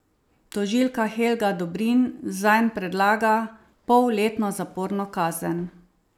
Tožilka Helga Dobrin zanj predlaga polletno zaporno kazen.